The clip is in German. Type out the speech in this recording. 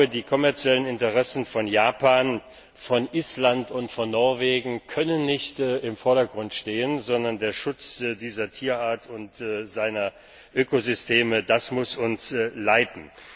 Die kommerziellen Interessen von Japan, von Island und von Norwegen können nicht im Vordergrund stehen, sondern der Schutz dieser Tierart und ihrer Ökosysteme muss uns leiten.